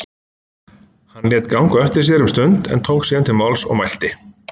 Hann lét ganga á eftir sér um stund en tók síðan til máls og mælti